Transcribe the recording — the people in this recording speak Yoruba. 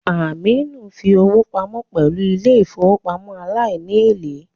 Aminu ń fi owó pamọ́ pẹ̀lú ilé ìfowópamọ́ aláìní èlé